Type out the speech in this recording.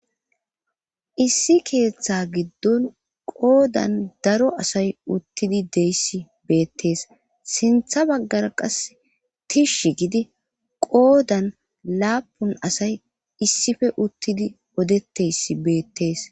Issi keeththa giddon qoodan daro asay uttidi dessi beettees. Sintha baggara qasse tishshi giddi qoodan laapun asay issippe uttidi qodetteyssi beettees.